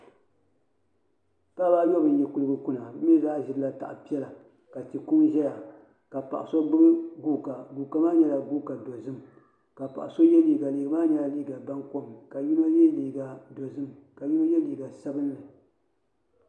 Paɣaba ayobu n yi kuligi kuna bi mii zaa ʒirila taha piɛla ka tia kuŋ ʒɛya ka ka paɣa so gbubi guuka guuka maa nyɛla guuka dozim ka paɣa so yɛ liiga liiga maa nyɛla liiga baŋkom ka yino yɛ liiga dozim ka yino yɛ liiga sabinli